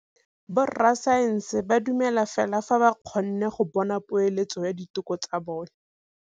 Borra saense ba dumela fela fa ba kgonne go bona poeletsô ya diteko tsa bone.